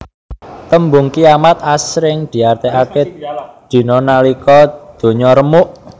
Tembung kiamat asring diartèkaké dina nalika ndonya remuk